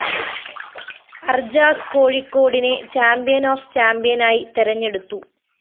അര്‍ജാസ് കോഴിക്കോടിനെ champion of ചാമ്പ്യനായി തെരഞ്ഞെടുത്തു